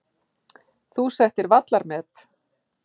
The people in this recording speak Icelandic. Þú settir vallarmet.